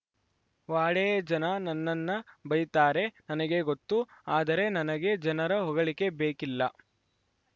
ವಾಡೇ ಜನ ನನ್ನನ್ನ ಬೈತಾರೆ ನನಗೆ ಗೊತ್ತುಆದರೆ ನನಗೆ ಜನರ ಹೊಗಳಿಕೆ ಬೇಕಿಲ್ಲ